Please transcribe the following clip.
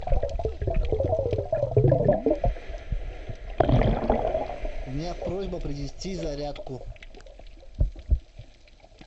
у меня просьба принести зарядку